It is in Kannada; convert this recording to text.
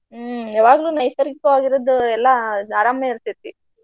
ಹ್ಮ ಯಾವಾಗ್ಲೂ ನೈಸರ್ಗಿಕವಾಗಿರುದ ಎಲ್ಲ ಅರಾಮ ಇರ್ತೆತಿ.